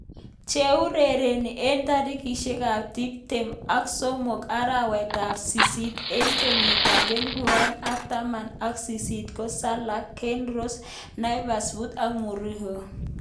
Cheurereni eng tarikishek ab tip tem ak somok arawet ab sisit eng kenyit ab elipu aeng ak taman ak sisit ko Salah, Kane, Rose, Navas, foden, origi ak Mourinho.